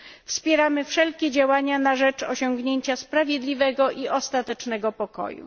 Wspieramy wszelkie działania na rzecz osiągnięcia sprawiedliwego i ostatecznego pokoju.